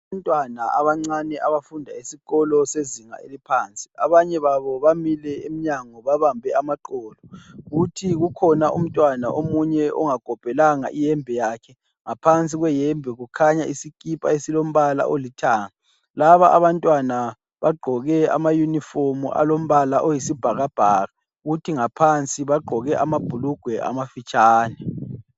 Abantwana abancane abafunda esikolo sezinga eliphansi. Abanye babo bamile emnyango babambe amaqolo, kuthi kukhona umntwana omunye ongakopelanga iyembe yakhe. Ngaphansi kweyembe kukhanya isikipa esilombala olithanga. Laba abantwana bagqoke amayunifomu alombala oyisibhakabhaka kuthi ngaphansi bagqoke amabhulugwe amafitshane.